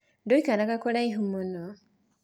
Tũikaraga kũraihu mũno.